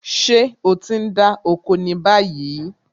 Ṣé o ti ń dá oko ni báyìí?